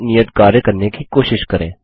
यह नियत कार्य करने की कोशिश करें